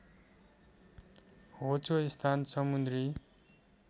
होचो स्थान समुन्द्री